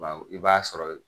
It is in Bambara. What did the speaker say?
Bawo i b'a sɔrɔ